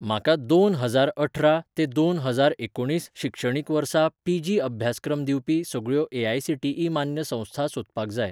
म्हाका दोन हजार अठरा ते दोन हजार एकुणीस शिक्षणीक वर्सा पीजी अभ्यासक्रम दिवपी सगळ्यो ए.आय.सी.टी.ई. मान्य संस्था सोदपाक जाय